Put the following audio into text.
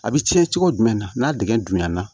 A bɛ tiɲɛ cogo jumɛn na n'a digɛn dun ɲɛna